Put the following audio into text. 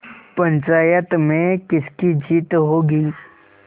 पंचायत में किसकी जीत होगी